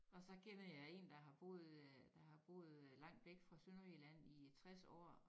Og så kender jeg én der har boet øh der har boet øh langt væk fra Sønderjylland i 60 år